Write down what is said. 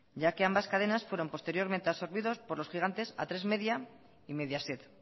ya que ambas cadenas fueron posteriormente absorbidas por los gigantes atresmedia y mediaset